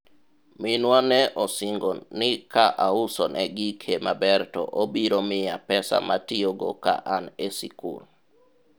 minwa ne osingo ni ka ausone gike maber to obiro miya pesa matiyogo ka an e sikul